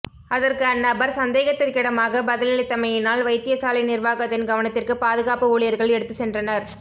அதற்கு அந்நபர் சந்தேகத்திற்கிடமாக பதிலளித்தமையினால் வைத்தியசாலை நிர்வாகத்தின் கவனத்திற்கு பாதுகாப்பு ஊழியர்கள் எடுத்து சென்றனர்